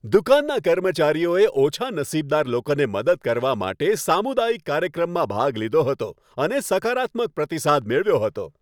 દુકાનના કર્મચારીઓએ ઓછા નસીબદાર લોકોને મદદ કરવા માટે સામુદાયિક કાર્યક્રમમાં ભાગ લીધો હતો અને સકારાત્મક પ્રતિસાદ મેળવ્યો હતો.